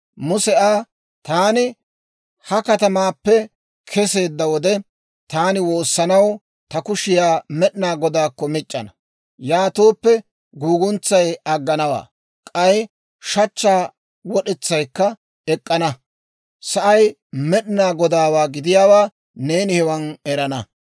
Muse Aa, «Taani ha katamaappe keseedda wode, taani woossanaw ta kushiyaa Med'inaa Godaakko mic'c'ana; yaatooppe guuguntsay agganawaa; k'ay shachchaa wod'etsay ek'k'ana; sa'ay Med'inaa Godaawaa gidiyaawaa neeni hewaan erana.